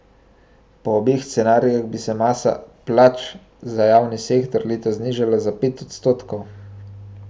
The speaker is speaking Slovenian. Po obeh scenarijih bi se masa plač za javni sektor letos znižala za pet odstotkov.